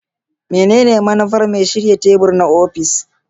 Menene manufar mai shirya tebur na ofis?